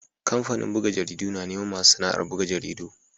Kamfanin buga jaridu na neman masu sana'ar buga jaridu.